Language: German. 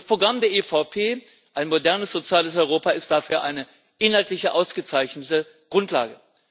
Das Programm der EVP ein modernes soziales Europa ist dafür eine inhaltlich ausgezeichnete Grundlage.